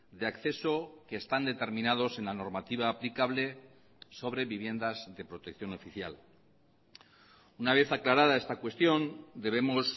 de acceso que están determinados en la normativa aplicable sobre viviendas de protección oficial una vez aclarada esta cuestión debemos